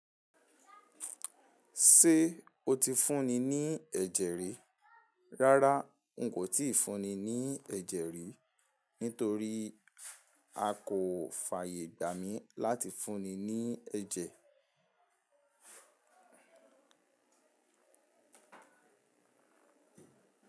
Ṣé o ti fúnni ní ẹ̀jẹ̀ rí? Rárá n kò ti fúnni ní ẹ̀jẹ̀ rí, nítorí a kò fàyè gbà mí láti fúnni ní ẹ̀jẹ̀.